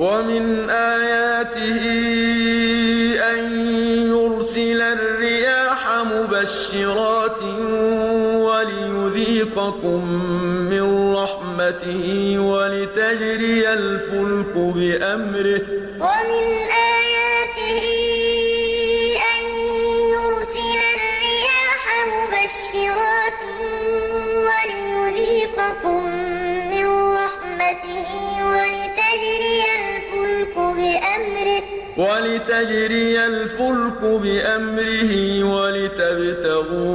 وَمِنْ آيَاتِهِ أَن يُرْسِلَ الرِّيَاحَ مُبَشِّرَاتٍ وَلِيُذِيقَكُم مِّن رَّحْمَتِهِ وَلِتَجْرِيَ الْفُلْكُ بِأَمْرِهِ وَلِتَبْتَغُوا